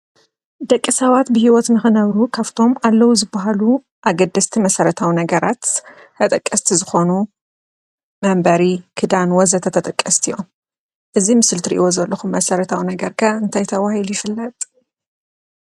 ደቂ ሰባት ብህይወት ንኽነብሩ ካብቶም ኣለዉ ዝበሃሉ ኣገደስቲ መሰረታዊ ነገራት ተጠቀስቲ ዝኾኑ መንበሪ፣ ክዳን ወዘተ ተጠቀስቲ እዮም፡፡ እዚ ምስሊ ትሪእዎ ዘለኹም መሰረታዊ ነገር ከ እንታይ ተባሂሉ ይፍለጥ?